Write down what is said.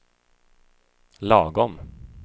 lagom